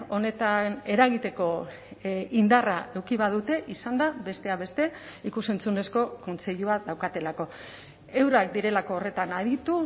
honetan eragiteko indarra eduki badute izan da besteak beste ikus entzunezko kontseilua daukatelako eurak direlako horretan aditu